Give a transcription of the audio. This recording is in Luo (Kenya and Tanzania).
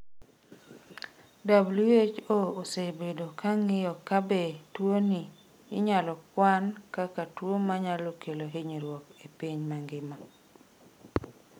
WHO osebedo ka ng’iyo ka be tuwoni inyalo kwan kaka tuwo ma nyalo kelo hinyruok e piny mangima.